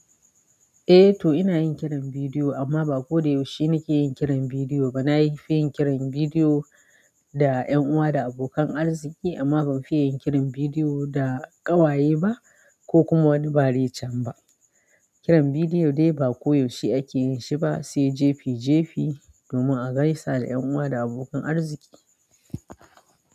Eh to ina yin kiran bidiyo amma ba koyaushe nake yin kiran bidiyo ba. Na fi yin kiran bidiyo da ƴan uwa da abokan arziki amma ban fi yin kiran bidiyo da ƙawaye ba ko kuma wani bari can ba. Kiran bidiyo dai ba koyaushe ake yin shi ba sai jefi-jefi domin a gaisa da ƴan uwa da abokan arziki.